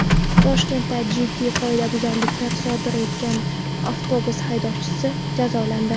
Toshkentda jiddiy qoidabuzarliklar sodir etgan avtobus haydovchisi jazolandi.